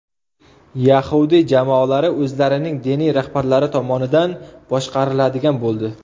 Yahudiy jamoalari o‘zlarining diniy rahbarlari tomonidaan boshqariladigan bo‘ldi.